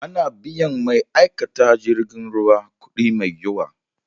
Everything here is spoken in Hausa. Ana biyan ma'aikatan jirgin ruwa kudi mai yawa.